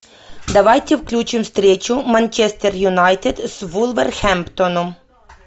давайте включим встречу манчестер юнайтед с вулверхэмптоном